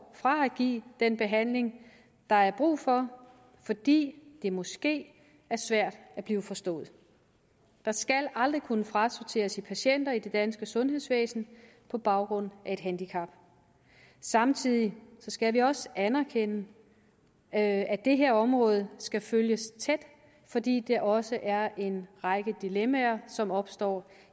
fra at give den behandling der er brug for fordi det måske er svært at blive forstået der skal aldrig kunne frasorteres i patienter i det danske sundhedsvæsen på baggrund af et handicap samtidig skal vi også anerkende at det her område skal følges tæt fordi der også er en række dilemmaer som opstår